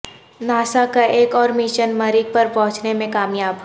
NASA کا ایک اور مشن مریخ پر پہنچنے میں کامیاب